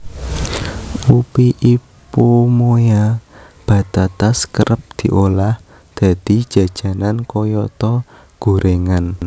Ubi Ipomoea batatas kerep diolah dadi jajanan kayata goréngan